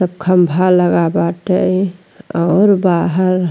सब खंभा लगा बाटे और बाहर --